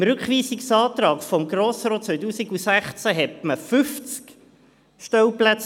Mit dem Rückweisungsantrag des Grossen Rates von 2016 verlangte man 50 Stellplätze.